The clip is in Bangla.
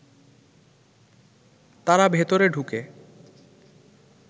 তারা ভেতরে ঢুকে